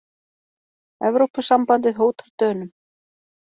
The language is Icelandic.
Evrópusambandið hótar Dönum